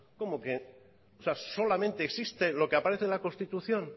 solamente existe lo que aparece en la constitución